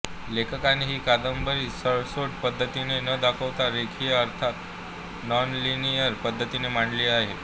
लेखकाने ही कादंबरी सरळसोट पद्धतीने न दाखवता रेखीय अर्थात नॉनलिनियर पद्धतीने मांडली आहे